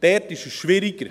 Dort ist es schwieriger.